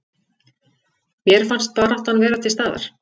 Mér fannst baráttan vera til staðar